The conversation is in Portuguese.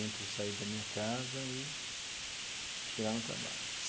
Entre sair da minha casa e chegar no trabalho.